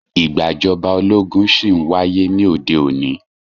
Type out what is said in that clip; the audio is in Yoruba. Ìgbàjọba ológun ṣí ń wáyé ní òde òní.